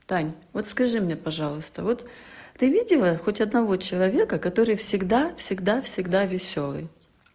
тань вот скажи мне пожалуйста вот ты видела хоть одного человека который всегда всегда всегда весёлый